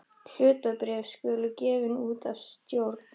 Hlutabréf skulu gefin út af stjórn.